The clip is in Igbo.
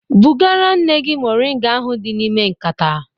Bugara nne gị moringa ahụ dị n'ime nkata